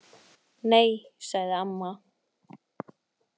Nei, sagði amma.